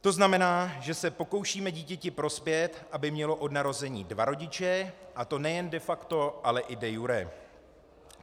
- To znamená, že se pokoušíme dítěti prospět, aby mělo od narození dva rodiče, a to nejen de facto, ale i de iure.